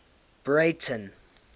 breyten